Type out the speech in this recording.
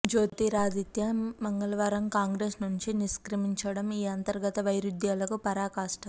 జ్యోతిరాదిత్య మంగళవారం కాంగ్రెస్ నుంచి నిష్క్రమించడం ఈ అంతర్గత వైరుధ్యాలకు పరాకాష్ఠ